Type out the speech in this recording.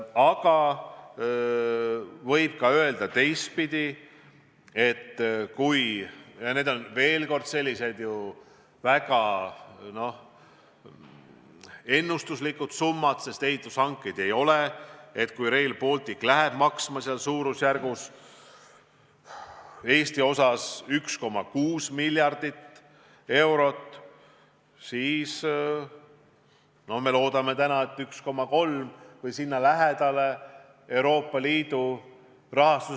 Aga võib öelda ka teistpidi, et kui – kordan veel, need on väga ennustuslikud summad, sest ehitushankeid ei ole tehtud – Rail Balticu Eesti-osa läheb maksma umbes 1,6 miljardit eurot, siis me loodame täna, et Euroopa Liidu rahastus katab sellest umbes 1,3 miljardit.